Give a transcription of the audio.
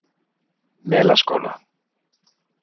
Melaskóla